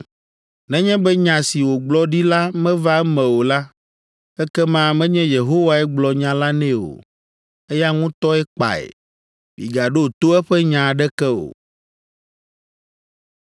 Nenye be nya si wògblɔ ɖi la meva eme o la, ekema menye Yehowae gblɔ nya la nɛ o, eya ŋutɔe kpae. Migaɖo to eƒe nya aɖeke o.